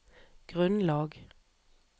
grunnlag